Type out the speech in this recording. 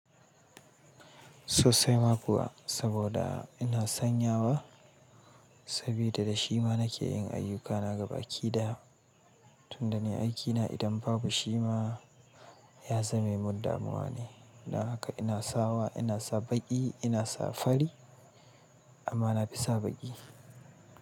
Sosai ma kuwa, saboda ina sanyawa saboda da shima nake yin ayyukana gaba aƙida. Tun da ni aikina idan babu shima yazamemin damuwane. Dan haka ina sawa, ina sa baƙi, ina sa fari amma na fi sa baƙi.